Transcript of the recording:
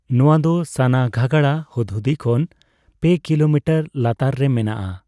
ᱱᱚᱣᱟ ᱫᱚ ᱥᱟᱱᱟᱜᱷᱟᱜᱟᱲᱟ ᱦᱩᱫᱽᱦᱩᱫᱤ ᱠᱷᱚᱱ ᱯᱮ ᱠᱤᱞᱳᱢᱤᱴᱟᱨ ᱞᱟᱛᱟᱨ ᱨᱮ ᱢᱮᱱᱟᱜᱼᱟ ᱾